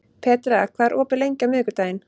Petrea, hvað er opið lengi á miðvikudaginn?